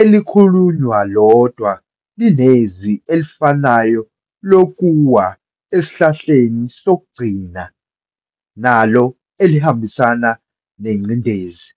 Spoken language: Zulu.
elikhulunywa lodwa, linezwi elifanayo lokuwa esihlahleni sokugcina, nalo elihambisana nengcindezi.